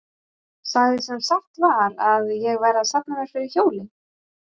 Sagði sem satt var að ég væri að safna mér fyrir hjóli.